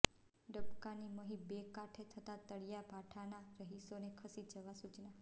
ડબકાની મહી બે કાંઠે થતાં તળિયા ભાઠાના રહીશોને ખસી જવા સૂચના